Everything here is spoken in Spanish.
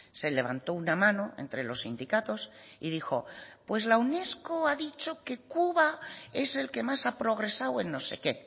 se levantó una mano entre los sindicatos y dijo pues la unesco ha dicho que cuba es el que más ha progresado en no sé qué